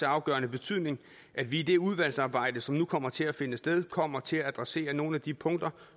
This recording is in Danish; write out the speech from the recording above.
afgørende betydning at vi i det udvalgsarbejde som nu kommer til at finde sted kommer til at adressere nogle af de punkter